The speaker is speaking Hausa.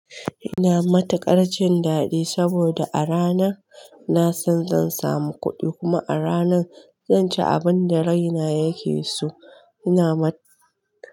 Ina matuƙar jin daɗi saboda a ranan na san zan samu kuɗi kuma a ranan zan ci abin da raina yake so. Ina ma.